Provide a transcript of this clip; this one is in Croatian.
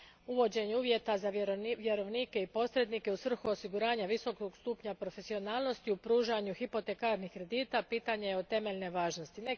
Uvođenje uvjeta za vjerovnike i posrednike u svrhu osiguranja visokog stupnja profesionalnosti u pružanju hipotekarnih kredita pitanje je od temeljne važnosti.